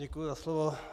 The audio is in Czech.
Děkuji za slovo.